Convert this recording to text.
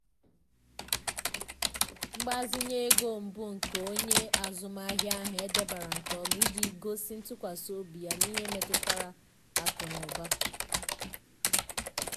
mgbazinye ego mbụ nke onye azụmahịa ahụ e debere nke ọma iji gosi ntụkwasị obi ya n’ihe metụtara akụ na ụba.